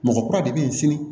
Mɔgɔ kura de bɛ yen sini